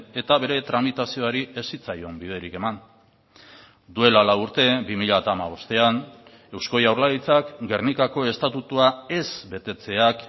eta bere tramitazioari ez zitzaion biderik eman duela lau urte bi mila hamabostean eusko jaurlaritzak gernikako estatutua ez betetzeak